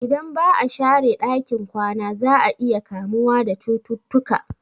Idan ba'a share ɗakin kwana za'a iya kamuwa da cututtuka